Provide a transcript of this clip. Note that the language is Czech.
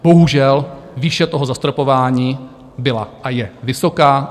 Bohužel výše toho zastropování byla a je vysoká.